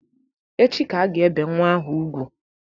Echi ka a ga-ebe nnwa ahụ ugwu.